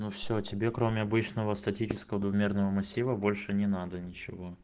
ну все тебе кроме обычного статического двумерного массива больше не надо ничего